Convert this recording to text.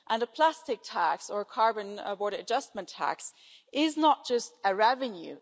A plastics tax or a carbon border adjustment tax is not just a revenue